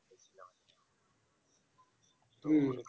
হম